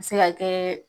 A bɛ se ka kɛ